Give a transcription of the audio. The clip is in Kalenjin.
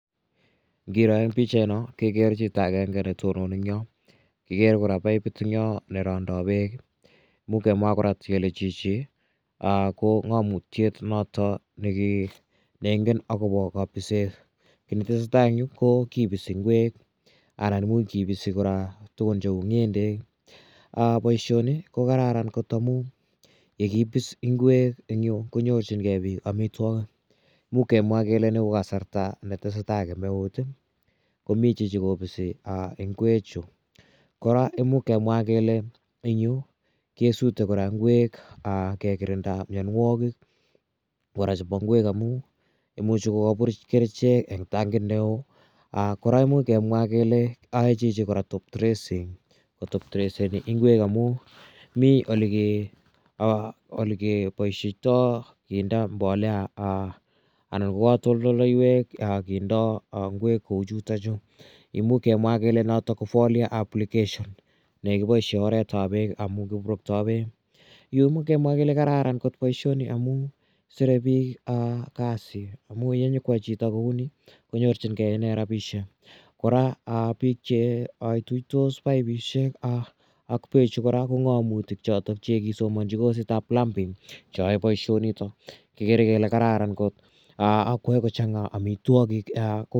Ngiro eng' pichaino kekere chito agenge ne tononi eng' yo. Kikere kora papit en yo ne randai peek. Imuch kemwa kora kele chichi ko ng'amutiet notok ne ingen akopa kapiset. Ki ne tese tai eng' ko kipisi ngwek anan kipisi kora tugun cheu ng'endek. Poishoni ko kararan kot missing' amu ye kipis ngwek eng' yu konyorchingei piik amitwogik. Imuch kemwa kele ni ko kasarta ne tese tai kemeut i, ko mi chichi kopisi ngwechu. Kora imuch kemwa kele eng' kesute kora ngwek kekirinda mianwogik kora chepo ngwek amu imuchi kokapuruch ngwek eng' tankit ne oo. Kora imuch kemwa kole ae chichi kora top dressing ko top dreseni ngwek amu mi ole ke poisheitai kindai mbolea anan ko katoltolaiwek kindai ngwek kou chutachu. Imuch kemwa kele notok ko Forlia application ne kipaishe oret ap peek amu kipuruktai peek. Yu imuch kemwa kele kararan kot poishoni amu sire pik kasi amu ye nyuko yai chito koy ni konyorchingei rapishek. Kora pik che ituitos paipishek ak peechu kora ko ng'amutik che kisomanchi kosit ap plumbing che yae poishonitok. Igere ile kararan kot ak koyae kochang'a amitwogik.